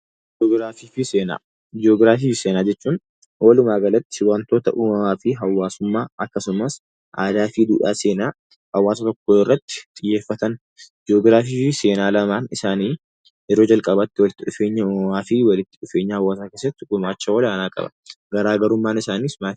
Ji'ogiraafii fi seenaa jechuun walumaagalatti waantota uumamaa fi hawaasummaa akkasumas aadaa fi duudhaa seenaa hawaasa tokkoo irratti xiyyeeffatan. Ji'ogiraafii fi seenaan lamaan isaanii yeroo jalqabaatti walitti dhufeenya uumamaa fi walitti dhufeenya hawaasaa keessatti gumaacha olaanaa qabu. Garaagarummaan isaaniis maali?